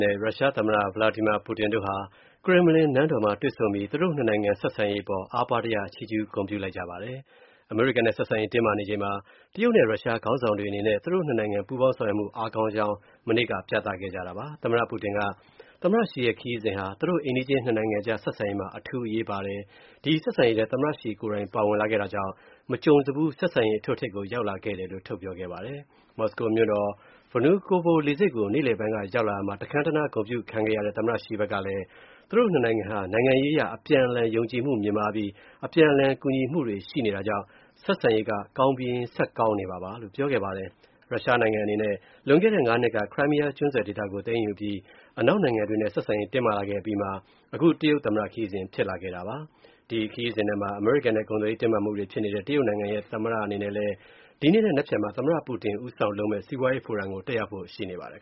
နဲ့ ရုရှားသမ္မတ Vladimir Putin တို့ဟာ ကရင်မလင် နန်းတော်မှာ တွေ့ဆုံပြီး သူတို့ (၂) နိုင်ငံ ဆက်ဆံရေး အပေါ် ချီးကျူး ဂုဏ်ပြုလိုက်ကြပါတယ်။ အမေရိကန်နဲ့ ဆက်ဆံရေး တင်းမာနေချိန်မှာ တရုတ်နဲ့ ရုရှားခေါင်းဆောင်တွေ အနေနဲ့ (၂) နိုင်ငံ ပူးပေါင်းဆောင်ရွက်မူ အားကောင်းနေကြောင်း မနေ့က ပြသခဲ့တာပါ။ သမ္မတ Putin က သမ္မတ Xi ရဲ့ ရုရှားခရီးစဉ်ဟာ သူတို့ အိမ်နီးချင်း (၂) နိုင်ငံအကြား ဆက်ဆံရေးမှာ အထူးအရေးပါတယ်၊ သမ္မတ Xi ကိုယ်တိုင်ပါဝင်လာတာကြောင့် မကြုံစဖူး ဆက်ဆံရေး အထွဋ်အထိပ်ကို ရောက်လာခဲ့တယ်လို့ ထုတ်ပြောခဲ့ပါတယ်။ မော်စကိုမြို.တော်က Vnukovo လေဆိပ်ကို နေ့လည်ပိုင်း ရောက်လာရာမှာ တခမ်းတနား ဂုဏ်ပြုခံခဲ့ရတဲ့ သမ္မတ Xi ဖက်ကလည်း သူတို့ (၂) နိုင်ငံဟာ နိုင်ငံရေးအရ အပြန်အလှန်ယုံကြည်မူမြင့်မားပြီး အပြန်အလှန် ကူညီမှုရှိတာကြောင့် ဆက်ဆံရေးက ကောင်းပြီးရင်း ဆက်ကောင်းနေမှာပါလို့ ပြောခဲ့ပါတယ်။ ရုရှားနိုင်ငံ အနေနဲ့ လွန်ခဲ့တဲ့ (၅) နှစ်က Crimea ကျွန်းဆွယ်ဒေသကို သိမ်းယူအပြီး အနောက်နိုင်ငံတွေနဲ့ ဆက်ဆံရေး တင်းမာလာခဲ့ အပြီးမှာ အခု တရုတ်သမ္မတ ခရီးစဉ်ဖြစ်လာတာပါ။ ဒီခရီးစဉ်ထဲမှာ အမေရိကန်နဲ့ ကုန်သွယ်ရေး တင်းမာမူတွေ ဖြစ်နေတဲ့ တရုတ်နိုင်ငံရဲ့ သမ္မတ အနေနဲ့ ဒီနေ့နဲ့ နက်ဖြန်မှာ သမ္မတ Putin ဦးဆောင်လုပ်မဲ့ စီးပွားရေးဖိုရမ်ကို တက်ရောက်ဖို့ရှိပါတယ်